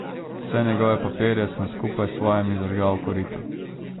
Vse njegove papirje sem skupaj s svojimi zažgal v koritu.